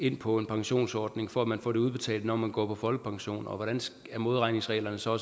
ind på en pensionsordning for at man kan få det udbetalt når man går på folkepension og hvordan er modregningsreglerne så